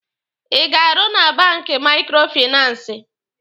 Ị ga-arụ na banki maikrofinansi?